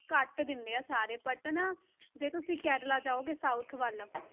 ਕੱਟ ਦਿੰਦੇ ਆ ਸਾਰੇ but ਨਾ ਜੇ ਤੁਸੀਂ ਕੇਰਲਾ ਜਾਓਗੇ south ਵੱਲ